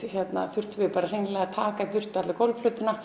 þurftum við að taka burt